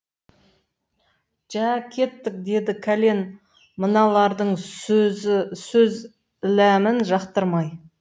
жә кеттік деді кәлен мыналардың сөз іләмін жақтырмай